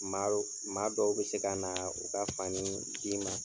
Maa maa dɔw bɛ se ka na u ka fani d'i ma.